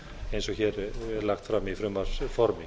eins og hér er lagt fram í frumvarpsformi